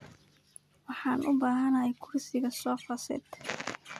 Waxan ubahanhy kursiga sofa set.